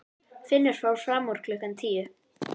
Finnur fór fram úr klukkan tíu.